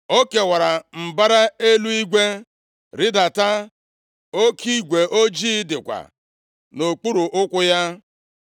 O kewara mbara eluigwe, rịdata; oke igwe ojii dịkwa nʼokpuru ụkwụ ya.